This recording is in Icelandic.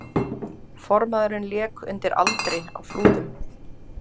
Formaðurinn lék undir aldri á Flúðum